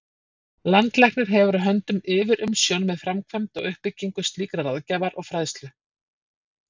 Landlæknir hefur á höndum yfirumsjón með framkvæmd og uppbyggingu slíkrar ráðgjafar og fræðslu.